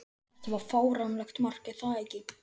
Þetta var fáránlegt mark, er það ekki?